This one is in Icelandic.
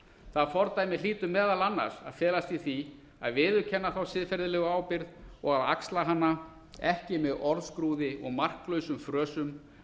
það fordæmi hlýtur meðal annars að felast í því að viðurkenna hina siðferðilegu ábyrgð og axla hana ekki með orðskrúði og marklausum frösum